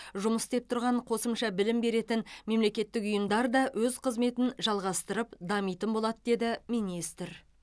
жұмыс істеп тұрған қосымша білім беретін мемлекеттік ұйымдар да өз қызметін жалғастырып дамитын болады деді министр